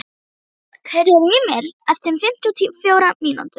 Aðalbjörg, heyrðu í mér eftir fimmtíu og fjórar mínútur.